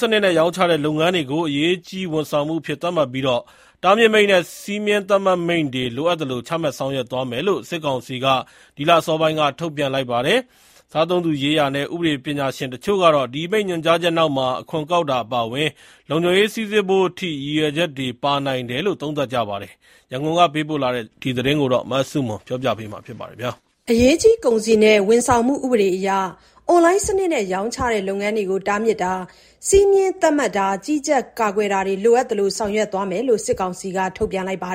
စနစ်နဲ့ ရောင်းချတဲ့ လုပ်ငန်းတွေကို အရေးကြီး ဝန်ဆောင်မှုအဖြစ် သတ်မှတ်ပြီး တားမြစ်မိန့်နဲ့ စည်းမျဉ်းသတ်မှတ်မိန့်တွေ လိုအပ်သလို ချမှတ်ဆောင်ရွက်သွားမယ်လို့ စစ်ကောင်စီက ဒီလ အစောပိုင်းက ထုတ်ပြန်လိုက်ပါတယ်။ စားသုံးသူရေးရာနဲ့ ဥပဒေ ပညာရှင်တချို့ကတော့ ဒီအမိန့် ညွှန်ကြားချက်နောက်မှာ အခွန်ကောက်တာ အပါအဝင် လုံခြုံရေး စိစစ်ဖို့အထိ ရည်ရွယ်ချက်တွေ ပါနိုင်တယ်လို့ သုံးသပ်ကြပါတယ်။ ရန်ကုန်ကပေးပို့တဲ့ ဒီသတင်းကို မဆုမွန်က တင်ပြပေးပါမယ်။ အရေးကြီး ကုန်စည်နဲ့ ဝန်ဆောင်မှု ဥပဒေအရ အွန်လိုင်းစနစ်နဲ့ ရောင်းချတဲ့ လုပ်ငန်းတွေကို တားမြစ်တာ၊ စည်းမျဉ်းသတ်မှတ်တာ၊ ကြီးကြပ်တာ၊ ကာကွယ်တာတွေကို လိုအပ်သလို ဆောင်ရွက်သွားမယ်လို့ စစ်ကောင်စီက ထုတ်ပြန်လိုက်တာပါ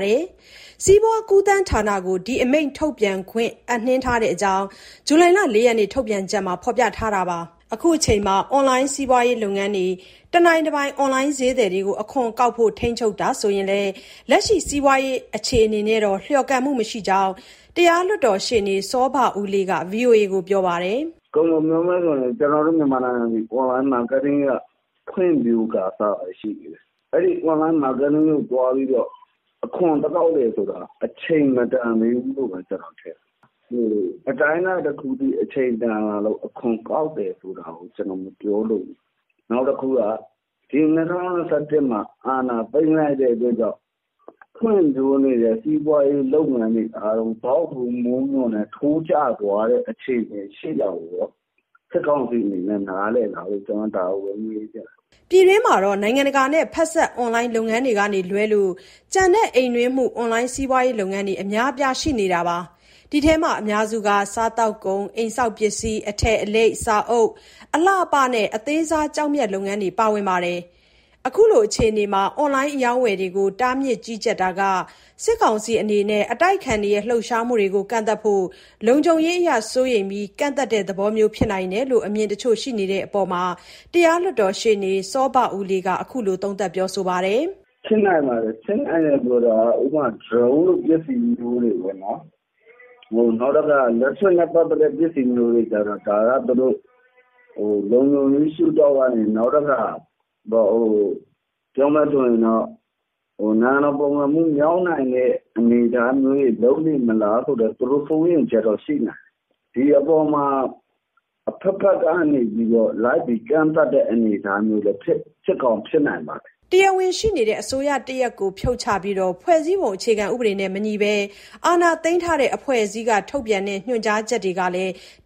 ။ စီးပွားကူးသန်းဌာနကို ဒီအမိန့် ထုတ်ပြန်ခွင့် အပ်နှင်းထားတဲ့အကြောင်း ဇူလိုင်လ ၄ ရက်နေ့ ထုတ်ပြန်ချက်မှာ ဖော်ပြထားပါတယ်။ အခုအချိန်မှာ အွန်လိုင်းစီးပွားရေး လုပ်ငန်းတွေ၊ တနိုင်တပိုင် အွန်လိုင်း ဈေးသည်တွေကို အခွန်ကောက်ဖို့ ထိန်းချုပ်တာဆိုရင်လည်း လက်ရှိစီးပွားရေး အခြေအနေနဲ့တော့ လျော်ကန်မှုမရှိဘူးလို့ တရားလွှတ်တော်ရှေ့နေ စောဘဦးလေးက ဗွီအိုအေကို ပြောပါတယ်။ "ကုန်ကုန်ပြောမယ်ဆိုရင် ကျနော်တို့ မြန်မာနိုင်ငံသည် အွန်လိုင်းမားကတ်တင်းက ဖွံ့ဖြိုးကာစပဲ ရှိသေးတယ်။ အဲဒီအွန်လိုင်း မားကတ်တင်းကိုသွားပြီးတော့ အခွန်သွားကောက်တယ်ဆိုတာ အချိန်မတန်သေးဘူးလို့ပဲ ထင်တယ်။ အတိုင်းအတာတခုအထိ အချိန်တန်လာလို့ အခွန်ကောက်တာ မပြောလိုဘူး။ နောက်တခုက ဒီ၂၀၂၁မှာ အာဏာသိမ်းလိုက်တဲ့ အတွက်ကြောင့် ဖွံ့ဖြိုးနေတဲ့ စီးပွားရေး လုပ်ငန်းတွေအားလုံး ဇောက်ထိုးမိုးမျှော်နဲ့ ထိုးကျသွားတဲ့ အခြေအနေရှိတာကို စစ်ကောင်စီအနေနဲ့ နားလည်လားလို့ ကျနော်မေးချင်တယ်။" ပြည်တွင်းမှာတော့ နိုင်ငံတကာနဲ့ဖက်စပ် အွန်လိုင်း လုပ်ငန်းတွေကလွဲလို့ ကျန်တဲ့ အိမ်တွင်းမှု အွန်လိုင်းစီးပွားရေး လုပ်ငန်းတွေ အများအပြား ရှိနေပါတယ်။ ဒီထဲမှာ အများစုက စားသောက်ကုန်၊ အိမ်ဆောက်ပစ္စည်း၊ အထည်အလိပ်၊ စာအုပ်၊ အလှအပနဲ့ အသေးစား ကျောက်မျက် လုပ်ငန်းတွေ ပါဝင်ကြပါတယ်။ အခုလို အခြေအနေမှာ အွန်လိုင်း အရောင်းအဝယ်တွေကို တားမြစ်၊ ကြီးကြပ်တာဟာ စစ်ကောင်စီ အနေနဲ့ အတိုက်အခံတွေ လှုပ်ရှားမှုတွေကို ကန့်သတ်ဖို့၊ လုံခြုံရေးအရ စိုးရိမ်ပြီး ကန့်သတ်တဲ့သဘောမျိုးလည်း ဖြစ်နိုင်တယ်လို့ အမြင်တချို့ ရှိတဲ့အပေါ်မှာ တရားလွှတ်တော်ရှေ့နေ စောဘဦးလေးက အခုလို သုံးသပ်ပြောဆိုပါတယ်။ " ဖြစ်နိုင်ပါတယ်၊ ဖြစ်နိုင်တယ်ဆိုတာက ဥပမာ ဒရုန်းလိုပစ္စည်းမျိုးတွေ၊ နောက် electric နဲ့ပတ်သက်တဲ့ ပစ္စည်းမျိုးတွေကြ ဒါက သူတို့ လုံခြုံရေးရှုထောင့်ကနေ၊ နိုင်ငံတော်ပုန်ကန်မှု မြောက်နိုင်တဲ့ အနေအထားတွေ လုပ်နေမလားဆိုတဲ့ သူတို့စိုးရိမ်ချက်တော့ ရှိနိုင်တယ်။ ဒီအပေါ်မှာ အဘက်ဘက်ကနေ လိုက်ပြီး ကန့်သတ်တဲ့ အနေအထားမျိုး ဖြစ်ကောင်း ဖြစ်နိုင်တယ်။" တရားဝင်ရှိနေတဲ့ အစိုးရတရပ်ကို ဖြုတ်ချပြီး ဖွဲ့စည်းပုံဥပဒေနဲ့မညီဘဲ အာဏာသိမ်းထားတဲ့ အဖွဲ့အစည်းက ထုတ်ပြန်တဲ့ ညွှန်ကြားချက်တွေဟာ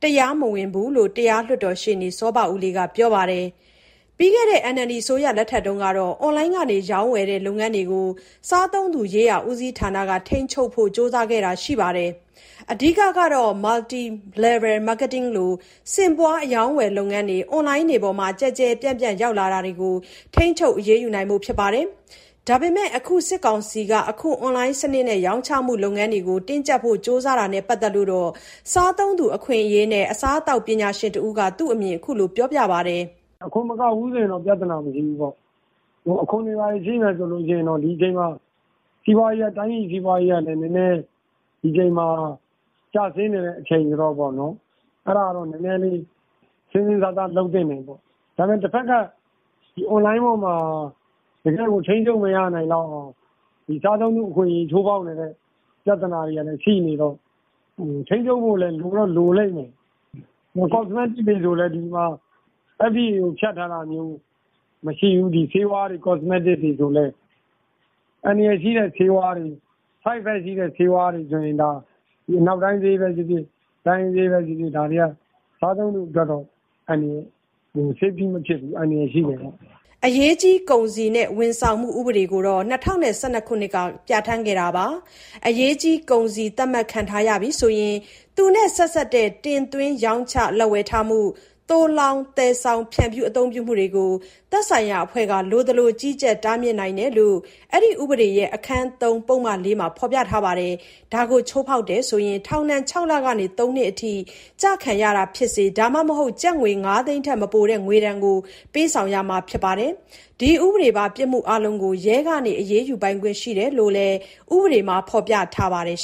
တရားမဝင်ဘူးလို့လည်း တရားလွှတ်တော် ရှေ့နေ စောဘဦးလေးက ပြောပါတယ်။ ပြီးခဲ့တဲ့ NLD အစိုးရလက်ထက်မှာတော့ အွန်လိုင်းက ရောင်းဝယ်တဲ့ လုပ်ငန်းတွေကို စားသုံးသူရေးရာ ဦးစီးဌာနက ထိန်းချုပ်ဖို့ ကြိုးစားခဲ့တာ ရှိပါတယ်။ အဓိကကတော့ Multi Level Marketing လို ဆင့်ပွားအရောင်းအဝယ်လုပ်ငန်းတွေ အွန်လိုင်းပေါ်မှာ ကျယ်ကျယ်ပြန့်ပြန့် ရောက်လာတွေကို ထိန်းချုပ်အရေးယူနိုင်ဖို့ ဖြစ်ပါတယ်။ ဒါပေမဲ့ အခု စစ်ကောင်စီက အခု အွန်လိုင်း စနစ်နဲ့ ရောင်းချမှု လုပ်ငန်းတွေကို တင်းကျပ်ဖို့ ကြိုးစားတာနဲ့ပတ်သက်လို့တော့ စားသုံးသူ အခွင့်အရေးနဲ့ အစားအသောက်ပညာရှင်တဦးက သူ့အမြင်ကို အခုလို ပြောပြပါတယ်။ "အခွန်မကောက်ဘူးဆို ပြဿနာမရှိဘူး၊ အခွန်တွေဘာတွေ ရှိမယ်ဆိုရင် ဒီအချိန်မှာ တိုင်းပြည်စီးပွားရေးကလည်း နည်းနည်း ကျဆင်းနေတဲ့ အချိန်ဆိုတော့ အဲဒါတော့ စဉ်းစဉ်းစားစား လုပ်သင့်တယ်ပေါ့။ အွန်လိုင်းမှာ တကယ် ထိန်းချုပ်လို့မရအောင် စားသုံးသူအခွင့်အရေး ချိုးဖောက်နေတဲ့ ပြဿနာတွေကလည်း ရှိနေတော့ ထိန်းချုပ်ဖို့လည်း လိုတော့လိုလိမ့်မယ်။ cosmetics တွေဆိုလည်း FDA ကိုဖြတ်ထားတာ မရှိဘူး ဆေးဝါးတွေ cosmetics တွေ။ အန္တရာယ်ရှိတဲ့ ဆေးဝါးတွေ side effect ရှိတဲ့ဆေးဝါးတွေ အနောက်တိုင်းပဲဖြစ်ဖြစ် တိုင်းရင်းဆေးပဲဖြစ်ဖြစ် စားသုံးသူအတွက် အန္တရာယ်ရှိတယ်။" အရေးကြီး ကုန်စည်နဲ့ ဝန်ဆောင်မှု ဥပေဒကိုတော့ ၂၀၁၂ မှာ ပြဋ္ဌာန်းခဲ့တာပါ။ အရေးကြီး ကုန်စည် သတ်မှတ်ခံထားရပြီ ဆိုရင် သူနဲ့ဆက်စပ်တဲ့ တင်သွင်း၊ ရောင်းချ၊ လက်ဝယ်ထားမှု၊ သိုလှောင်၊ သယ်ဆောင်၊ ဖြန့်ဖြူး အသုံးပြုမှုတွေကို သက်ဆိုင်ရာအဖွဲ့က လိုသလို ကြီးကြပ်၊ တားမြစ်နိုင်တယ် လို့ ဒီဥပဒေရဲ့ အခန်း(၃) ပုဒ်မ(၄)မှာ ဖော်ပြထားပါတယ်။ ဒါကိုချိုးဖောက်တယ်ဆိုရင် ထောင်ဒဏ် ၆ လကနေ ၃ နှစ်အထိ ကျခံရတာဖြစ်စေ ဒါမှမဟုတ် ကျပ်ငွေ ၅ သိန်းထက် မပိုတဲ့ ငွေဒဏ်ကို ပေးဆောင်ရမှာ ဖြစ်ပါတယ်။ ဒီဥပဒေပါ ပြစ်မှုအားလုံးကို ရဲက အရေးယူပိုင်ခွင့် ရှိတယ်လို့လည်း ဥပဒေမှာ ဖော်ပြထားပါတယ်